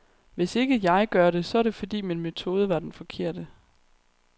Hvis ikke jeg gør det, så er det fordi min metode var den forkerte.